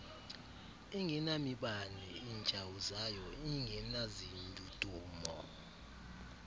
ingenamibane itshawuzayo ingenazindudumo